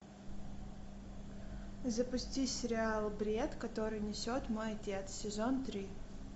запусти сериал бред который несет мой отец сезон три